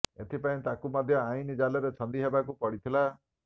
ଏଥିପାଇଁ ତାଙ୍କୁ ମଧ୍ୟ ଆଇନ ଜାଲରେ ଛନ୍ଦି ହେବାକୁ ପଡିଥିଲା